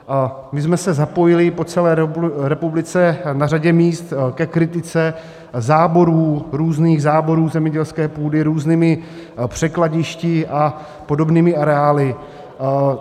My jsme se zapojili po celé republice na řadě míst ke kritice záborů, různých záborů zemědělské půdy různými překladišti a podobnými areály.